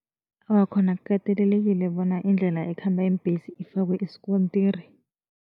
Awa, khona kukatelelekile bona indlela ekhamba iimbhesi ifakwe isikontiri.